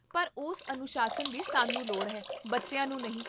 ਪਰ ਉਸ ਅਨੁਸ਼ਾਸਨ ਦੀ ਸਾਨੂੰ ਲੋੜ ਹੈ, ਬੱਚਿਆਂ ਨੂੰ ਨਹੀਂ